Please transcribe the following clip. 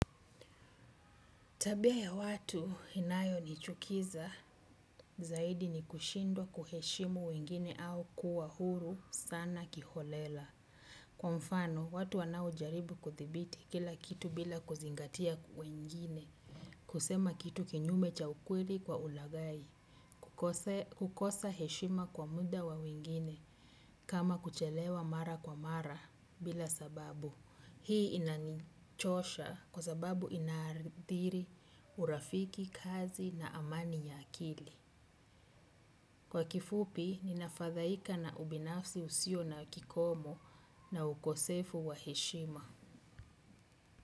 Tabia ya watu inayonichukiza zaidi ni kushindwa kuheshimu wengine au kuwa huru sana kiholela. Kwa mfano, watu wanaojaribu kudhibiti kila kitu bila kuzingatia wengine. Kusema kitu kinyume cha ukweli kwa ulaghai kukosa heshima kwa muda wa wengine. Kama kuchelewa mara kwa mara bila sababu. Hii inanichosha kwa ababu inaathiri urafiki kazi na amani ya akili. Kwa kifupi, ninafadhaika na ubinafsi usiyo na kikomo na ukosefu wa heshima.